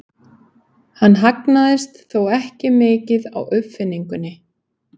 Hann hagnaðist þó ekki mikið á uppfinningunni.